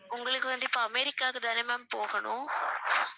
உங்களுக்கு வந்து இப்ப அமெரிக்காவுக்கு தான போகணும்